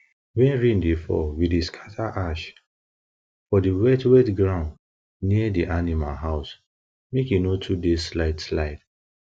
when rain dey fall we dey scatter ash for di wetwet ground near di animal house make e no too dey slideslide